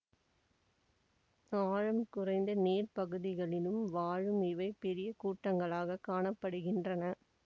ஆழம் குறைந்த நீர்ப்பகுதிகளில் வாழும் இவை பெரிய கூட்டங்களாகக் காண படுகின்றன